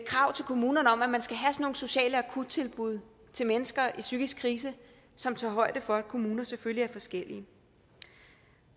krav til kommunerne om at man skal have sådan nogle sociale akuttilbud til mennesker i psykisk krise som tager højde for at kommuner selvfølgelig er forskellige